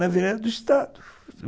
Na Estado